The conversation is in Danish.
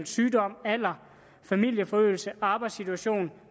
sygdom alder familieforøgelse arbejdssituation